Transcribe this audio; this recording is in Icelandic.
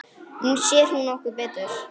Nú sér hún okkur betur